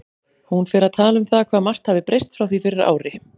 Hún fer að tala um það hvað margt hafi breyst frá því fyrir ári.